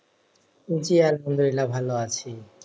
জি, আলহামদুলিল্লাহ ভালো আছি।